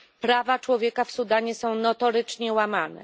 Prawa człowieka w Sudanie są notorycznie łamane.